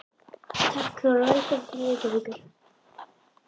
Kæra Þóra. Velkomin til Reykjavíkur.